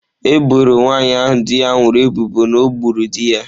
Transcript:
Eboro nwanyị ahụ di ya nwụrụ ebubo na o gburu di ya.